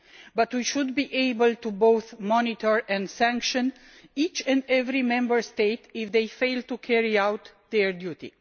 But we should be able to both monitor and sanction each and every Member State if they fail to carry out their duty.